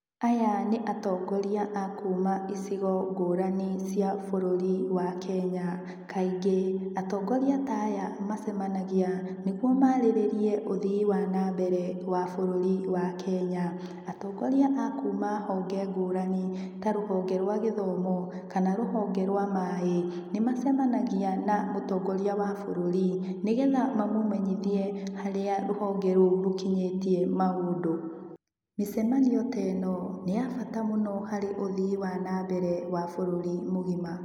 Aya nĩ atongoria a kuma icigo ngũrani cia bururi wa Kenya. Kaingĩ, atongoria aya macemanagia nĩguo marĩrirĩrie ũthii wa nambere wa bũruri wa Kenya. Atongoria a kuma honge ngũrani ta rũhonge rwa gĩthomo kana rũhonge rwa maĩ nĩ macemanagia na mũtongoria wa bũrũri nĩgetha mamũmenyithie harĩa rũhonge rũu rũkinyĩtie maundũ. Micemanio ta ĩno nĩ ya bata mũno harĩ ũthii wa nambere wa bũruri mũgima.